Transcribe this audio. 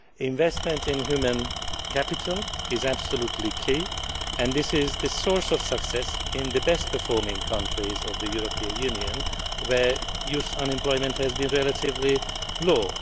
Investment in human capital is absolutely key, and this is the source of success in the best performing countries of the European Union where youth unemployment has been relatively low.